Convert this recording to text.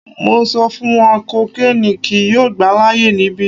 Mo n sọ fun ọ kokiini kii yoo gba laaye nibi